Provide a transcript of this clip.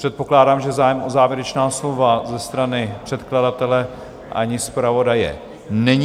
Předpokládám, že zájem o závěrečná slova ze strany předkladatele ani zpravodaje není.